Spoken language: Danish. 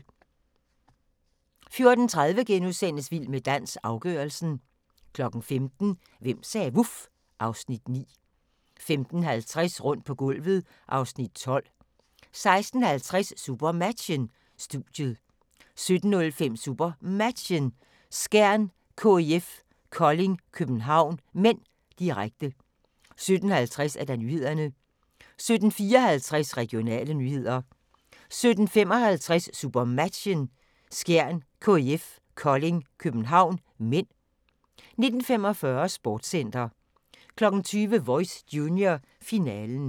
14:30: Vild med dans – afgørelsen * 15:00: Hvem sagde vuf? (Afs. 9) 15:50: Rundt på gulvet (Afs. 12) 16:50: SuperMatchen: Studiet 17:05: SuperMatchen: Skjern-KIF Kolding København (m), direkte 17:50: Nyhederne 17:54: Regionale nyheder 17:55: SuperMatchen: Skjern-KIF Kolding København (m) 19:45: Sportscenter 20:00: Voice Junior, finalen